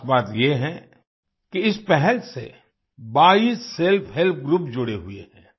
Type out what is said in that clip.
ख़ास बात ये है कि इस पहल से 22 सेल्फहेल्प ग्रुप जुड़े हुए हैं